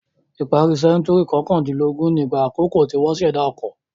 Ìparí sẹ́ńtúrì kọkàndínlógún nígbà àkọ́kọ́ tí wọ́n ṣẹ̀dá ọkọ.